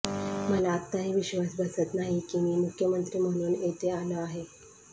मला आत्ताही विश्वास बसत नाही की मी मुख्यमंत्री म्हणून येथे आलो आहे